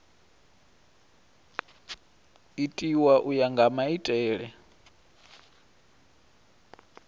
itiwa u ya nga maitele